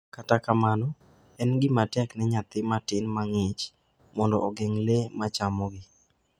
Kata kamano, en gima tek ne nyathi matin ma ng’ich mondo ogeng’ le ma chamogi.